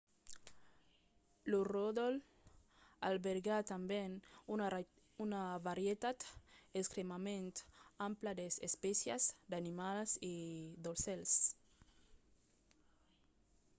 lo ròdol albèrga tanben una varietat extrèmament ampla d'espècias d'animals e d'aucèls